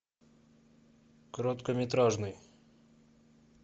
короткометражный